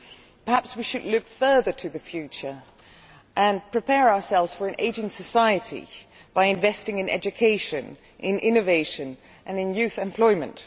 Perhaps we should look further to the future and prepare ourselves for an ageing society by investing in education, innovation and youth employment.